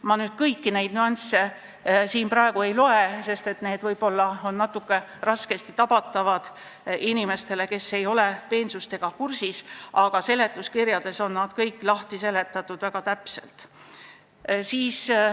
Ma kõiki neid praegu ette ei loe, sest need võivad olla natuke raskesti tabatavad inimestele, kes ei ole peensustega kursis, aga seletuskirjas on need kõik väga täpselt lahti seletatud.